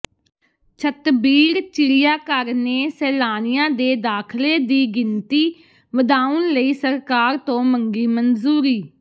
ਛਤਬੀੜ ਚਿੜੀਆ ਘਰ ਨੇ ਸੈਲਾਨੀਆਂ ਦੇ ਦਾਖਲੇ ਦੀ ਗਿਣਤੀ ਵਧਾਉਣ ਲਈ ਸਰਕਾਰ ਤੋਂ ਮੰਗੀ ਮਨਜ਼ੂਰੀ